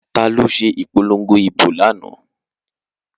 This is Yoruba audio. Taló se ìpolongo ìbò lánáà?